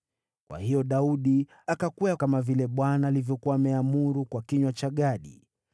Kwa hiyo Daudi akakwea kama vile Bwana alivyokuwa ameamuru kwa kinywa cha Gadi.